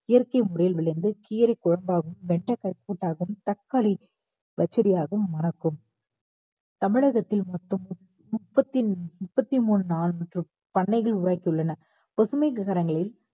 இயற்கை முறையில் விளைந்த கீரை குழம்பாகவும் வெண்டைக்காய் கூட்டாகவும் தக்காளி பச்சடி ஆகவும் மணக்கும் தமிழகத்தில் மொத்தம் மு~ முப்பத்தி~ முப்பத்தி மூணு நாலு மற்றும் பண்ணைகள் உரைத்துள்ளன பசுமை சிகரங்களில்